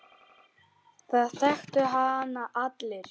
Það þekktu hann allir.